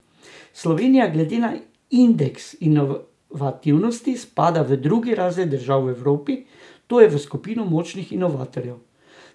Slovenija glede na indeks inovativnosti spada v drugi razred držav v Evropi, to je v skupino močnih inovatorjev.